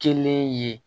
Kelen ye